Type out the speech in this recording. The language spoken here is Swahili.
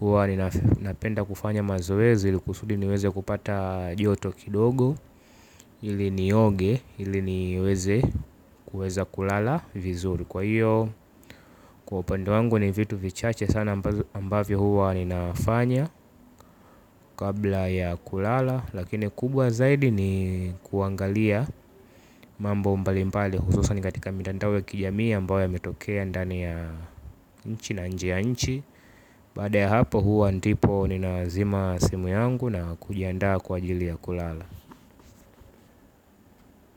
hua ninapenda kufanya mazoezi ili kusudi niweze kupata joto kidogo ili ni oge ili niweze kuweza kulala vizuri kwa hiyo kwa upande wangu ni vitu vichache sana ambavyo huwa ninafanya kabla ya kulala lakini kubwa zaidi ni kuangalia mambo mbalimpali hususani katika mitandao ya kijamii ambayo ya metokea ndani ya nchi na nje ya nchi baada ya hapo huwa ndipo ninazima simu yangu na kujiandaa kwa ajili ya kulala.